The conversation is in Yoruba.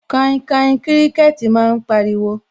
Kainkain kíríkẹ́tì máa ń pariwo